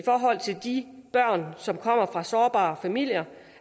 forhold til de børn som kommer fra sårbare familier